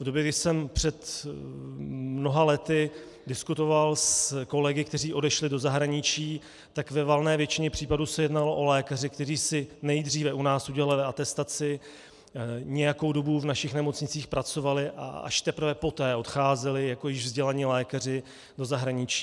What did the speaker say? V době, kdy jsem před mnoha lety diskutoval s kolegy, kteří odešli do zahraničí, tak ve valné většině případů se jednalo o lékaře, kteří si nejdříve u nás udělali atestaci, nějakou dobu v našich nemocnicích pracovali a až teprve poté odcházeli jako již vzdělaní lékaři do zahraničí.